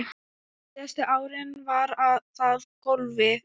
Síðustu árin var það golfið.